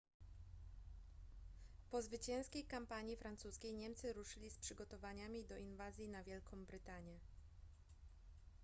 po zwycięskiej kampanii francuskiej niemcy ruszyli z przygotowaniami do inwazji na wielką brytanię